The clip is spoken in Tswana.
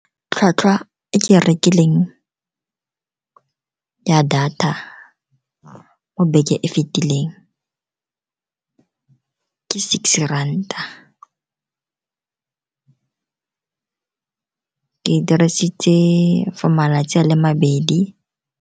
Tlhwatlhwa e ke e rekileng ya data mo beke e fetileng ke six ranta, ke e dirisitse for malatsi a le mabedi.